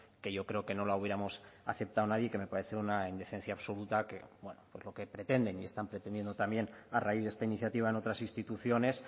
que yo creo que no la hubiéramos aceptado nadie y que me parece una indecencia absoluta que pretenden y están pretendiendo también a raíz de esta iniciativa en otras instituciones